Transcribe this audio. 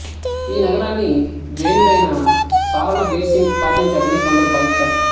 ఈ నగరాన్ని జైనుడైన సా రణబీర్సింగ్ స్థాపించాడని కొందరు భావిస్తారు